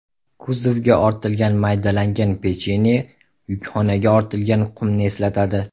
Kuzovga ortilgan maydalangan pechenye yukxonaga ortilgan qumni eslatadi.